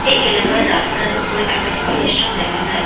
এই এলাকার রাস্তার উপরে একাধিক ফেস্টুন দেখা যায় ।